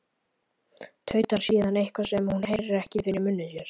Tautar síðan eitthvað, sem hún heyrir ekki, fyrir munni sér.